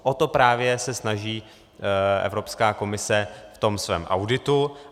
O to právě se snaží Evropská komise v tom svém auditu.